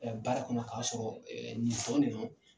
baara kɔnɔ k'a sɔrɔ nin